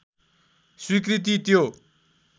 स्वीकृति त्यो